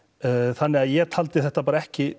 þannig að ég taldi þetta bara ekki